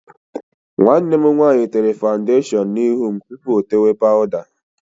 Nwanne m nwaanyị tere fawụndashọn n'ihu m tupu ya etee pawụda.